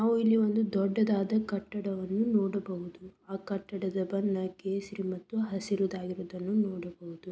ನಾವು ಇಲ್ಲಿ ಒಂದು ದೊಡ್ಡದಾದ ಕಟ್ಟಡವನ್ನು ನೋಡಬಹುದು. ಆ ಕಟ್ಟಡದ ಬಣ್ಣ ಕೇಸರಿ ಮತ್ತು ಹಸಿರುದಾಗಿರುವುದನ್ನು ನೋಡಬಹುದು.